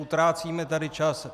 Utrácíme tady čas.